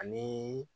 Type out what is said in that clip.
Ani